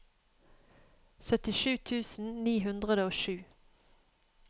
syttisju tusen ni hundre og sju